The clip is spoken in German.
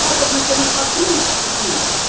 Das hat doch mit Demokratie nichts zu tun!